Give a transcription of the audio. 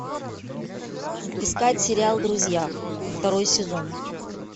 искать сериал друзья второй сезон